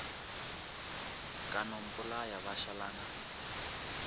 ka no mpolaya ba šalana